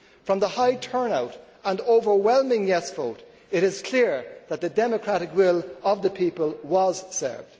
From the high turnout and overwhelming yes' vote, it is clear that the democratic will of the people was served.